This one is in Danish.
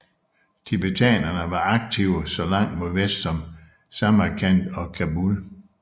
Tibetanere var aktive så langt mod vest som Samarkand og Kabul